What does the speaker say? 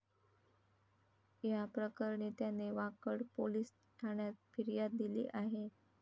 याप्रकरणी त्याने वाकड पोलीस ठाण्यात फिर्याद दिली आहे.